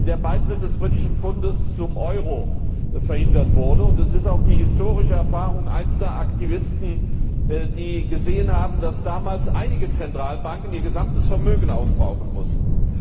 der Beitritt des britischen Pfundes zum Euro verhindert, und es ist auch die historische Erfahrung einzelner Aktivisten, die gesehen haben, dass damals einige Zentralbanken ihr gesamtes Vermögen aufbrauchen mussten.